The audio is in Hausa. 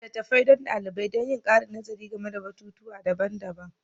Littattafai don daliban don yin ƙarin nazari game da batutuwa daban-daban